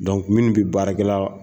minnu bɛ baarakɛla